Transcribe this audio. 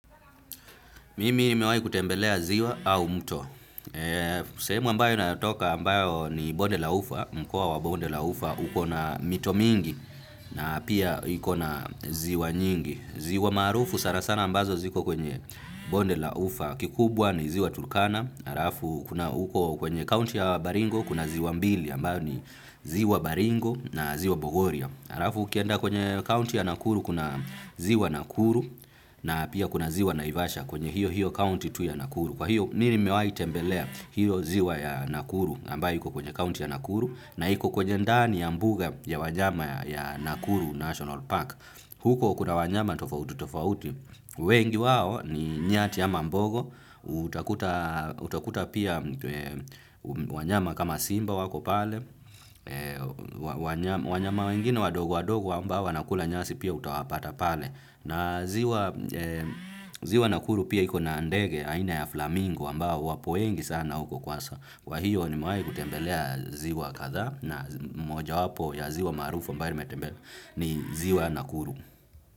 Mimi ni mewahi kutembelea ziwa au mto. Sehemu ambayo natoka ambayo ni bonde la ufa, mkoa wa bonde la ufa uko na mito mingi na pia iko na ziwa nyingi. Ziwa maarufu, sana sana ambazo ziko kwenye bonde la ufa kikubwa ni ziwa Turkana. Halafu huko kwenye kaunti ya Baringo, kuna ziwa mbili, ambayo ni ziwa Baringo na ziwa Bogoria. Halafu ukienda kwenye kaunti ya Nakuru kuna ziwa Nakuru, na pia kuna ziwa Naivasha kwenye hio hio kaunti tu ya Nakuru. Kwa hio, mimi mewahi tembelea hio ziwa ya Nakuru ambayo iko kwenye kaunti ya Nakuru na iko kwenye ndani ya mbuga ya wanyama ya Nakuru National Park. Huko kuna wanyama tofauti tofauti. Wengi wao ni nyati ama mbogo. Utakuta pia wanyama kama simba wako pale. Wanyama wengine wadogo wadogo ambao wana kula nyasi pia utawapata pale. Na ziwa Nakuru pia iko na ndege aina ya flamingo ambao wapo wengi sana huko kwanza. Kwa hio nimewahi kutembelea ziwa kadhaa na mojawapo ya ziwa maarufu ambayo nimetembelea ni ziwa nakuru.